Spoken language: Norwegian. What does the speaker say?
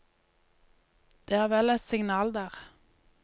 Det er vel et signal der.